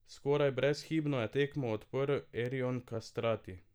Skoraj brezhibno je tekmo odprl Erjon Kastrati.